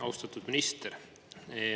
Austatud minister!